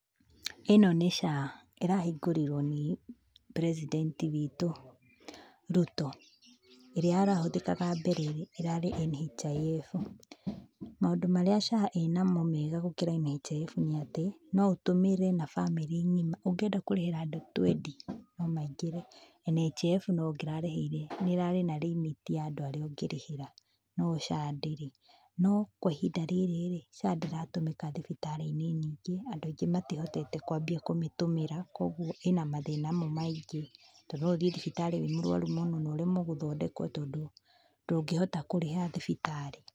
Ĩno nĩ SHA, ĩrahingũrirwo nĩ president wĩtũ, Ruto. Ĩrĩa ĩrahũthĩkaga mbere, ĩrarĩ NHIF. Maũndũ marĩa SHA ĩ namo mega gũkĩra NHIF nĩ atĩ, no ũtũmĩre na bamĩrĩ ng'ima. Ũngĩenda kũrĩhira andũ twendi no maingĩre. NHIF ona ũngĩrarĩhĩire, nĩ ĩrarĩ na limit ya andũ arĩa ũngĩrĩhĩra, no SHA ndĩrĩ. No kwa ihinda rĩrĩ-rĩ, SHA ndĩratũmĩka thibitarĩ-inĩ nyingĩ, andũ aingĩ matihotete kwambia kũmĩtũmĩra, koguo ĩna mathĩna mo maingĩ tondũ no ũthiĩ thibitarĩ wĩna mathĩna maingĩ na ũremwo gũthondekwo, tondũ ndũngĩhota kũrĩha thibitarĩ.